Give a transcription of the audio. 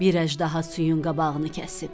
Bir əjdaha suyun qabağını kəsib.